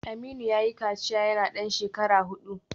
Aminu yayi kaciya yana dan shekara hudu